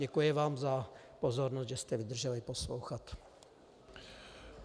Děkuji vám za pozornost, že jste vydrželi poslouchat.